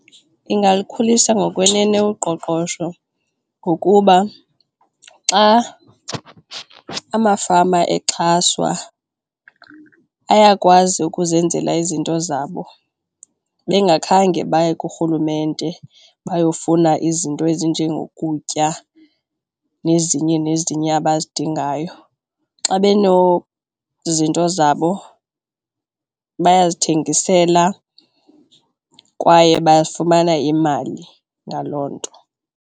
Iingalukhulisa ngokwenene kuqoqosho ngokuba xa amafama exhaswa ayakwazi ukuzenzela izinto zabo bengakhange baye kurhulumente bayofuna izinto ezinjengokutya nezinye nezinye abazidingayo. Xa benozinto zabo bayazithengisela kwaye bafumana imali ngaloo nto.